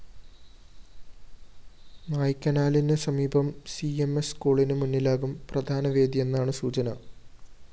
നായ്ക്കനാലിന് സമീപം C M S സ്‌കൂളിന് മുന്നിലാകും പ്രധാനവേദിയെന്നാണ് സൂചന